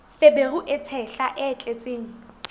feberu e tshehla e tletseng